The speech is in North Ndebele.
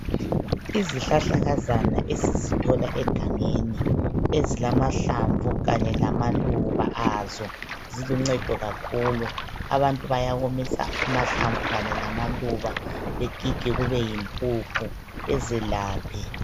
Izihlahlakazana esizithola egangeni ezilamahlamvu kanye lamaluba azo. Ziluncedo kakhulu. Abantu bayawomisa amahlamvu kanye lamaluba begige kube yimpuphu bezelaphe.